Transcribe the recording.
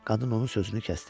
Qadın onun sözünü kəsdi.